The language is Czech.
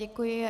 Děkuji.